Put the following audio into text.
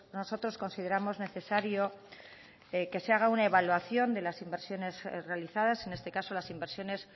nosotros consideramos necesario que se haga una evaluación de las inversiones realizadas en este caso las inversiones